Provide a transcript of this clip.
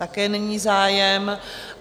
Také není zájem.